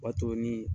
O b'a to ni